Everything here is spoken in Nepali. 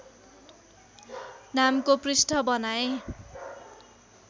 नामको पृष्ठ बनाएँ